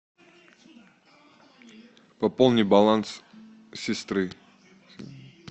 пополни баланс сестры